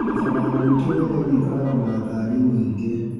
Barabara ya gwĩtũ wĩra-inĩ ĩkoragwo na ngari nyingĩ.